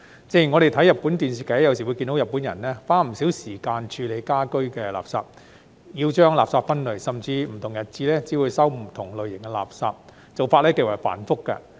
正如我們看日本電視劇，有時會看到日本人花不少時間處理家居垃圾，要將垃圾分類，甚至不同日子只會接收不同類型的垃圾，做法極為繁複。